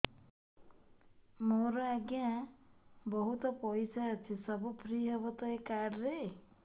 ମୋର ଆଜ୍ଞା ବହୁତ ପଇସା ଅଛି ସବୁ ଫ୍ରି ହବ ତ ଏ କାର୍ଡ ରେ